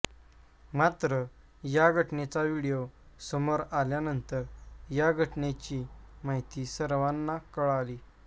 मात्र या घटनेचा व्हिडियो समोर आल्यानंतर या घटनेची माहिती सर्वांना कळाली